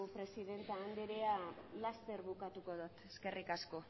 presidente anderea laster bukatuko dut eskerrik asko